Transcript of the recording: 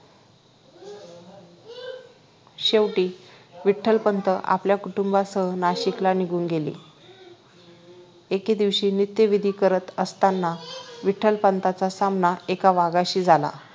शेवटी विठ्ठलपंत आपल्या कुटुंबासह नाशिकला निघून गेले एके दिवशी नित्य विधी करत असताना विठ्ठलपंतांचा सामना एका वाघाशी झाला